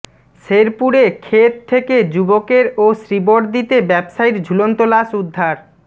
শেরপুরে ক্ষেত থেকে যুবকের ও শ্রীবরদীতে ব্যবসায়ীর ঝুলন্ত লাশ উদ্ধার